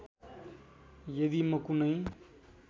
यदि म कुनै